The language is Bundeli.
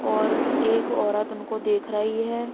और एक औरत उनको देख रही है।